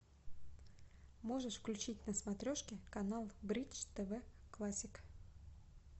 можешь включить на смотрешке канал бридж тв классик